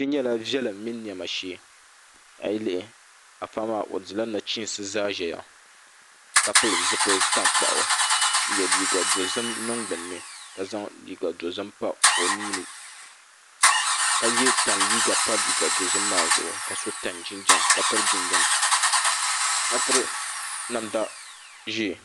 kpe nyɛla viɛlim mini nɛma shee a yi lihi a paɣa maa o dila nachiinsi zaya ka pili zupil'tankpaɣu n-ye liiga dozim niŋ gbunni ka zaŋ liiga dozim pa o nua ni ka ye tani liiga pa liiga dozim maa zuɣu ka so tani jinjam ka piri tani jinjam ka piri namda ʒee